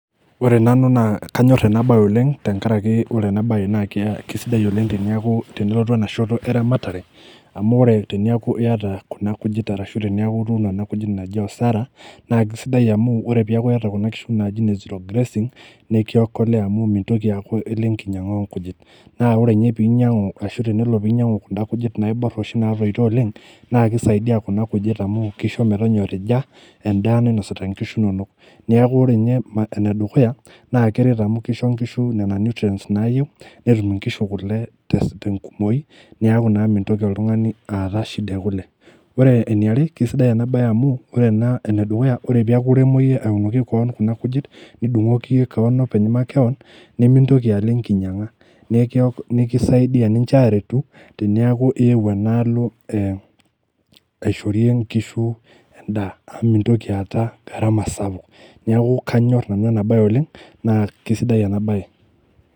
O re nanu naa kanyorr ena baye oleng tenkaraki ore ena baye naa kia kisidai oleng teniaku tenelotu ena shoto eramatare amu ore teniaku iyata kuna kujit arashu teneeku ituuno ena kujit naji osara naa kisidai amu ore piaku iyata kuna kishu naji ine zero grazing nekiokolea amu mintoki aaku ilo enkinyiang'a onkuji naa ore inye piilo enkinyiang'a onkujit naa ore inye pinyiang'u ashu tenelo pinyiang'u kunda kujit naiborr oshi natoito oleng naa kisaidia kuna kujit amu kisho metonyorija endaa nainosita inkishu inonok niaku inye enedukuya naa keret amu kisho inkishu nena nutrients naayieu netum inkishu kule tes tenkumoi neeku naa mintoki oltung'ani aata shida ekule ore enaiare kisidai ena baye amu ore ena enedukuya ore piaku iremo iyie aunoki koon kuna kujit nidung'oki iyie keon openy makewon nemintoki alo enkinyiang'a nekio nekisaidia ninche aretu teniaku iewuo enaalo eh aishorie inkishu endaa amu mintoki aata gharama sapuk niaku kanyorr nanu ena baye oleng naa kesidai ena baye.